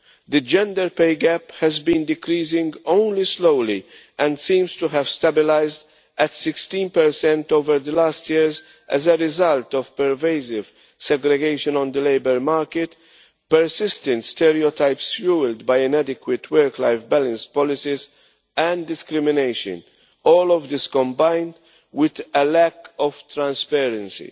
The gender pay gap has been decreasing only slowly and seems to have stabilised at 16 over the last years as a result of pervasive segregation on the labour market, persistent stereotypes fuelled by inadequate work life balance policies, and discrimination, all of this combined with a lack of transparency.